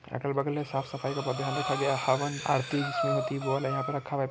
अगल बग़ल में साफ़-सफाई का बहुत ध्यान रखा गया है हवन आरती जिसमें होती है वो वाला यहाँ पे रखा है।